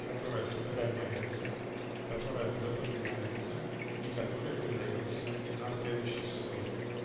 которая сохраняется которая запоминается и которой передаётся на следующий слой